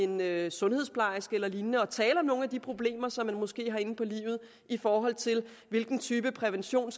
med en sundhedsplejerske eller lignende og tale om nogle af de problemer som man måske har inde på livet i forhold til hvilken type prævention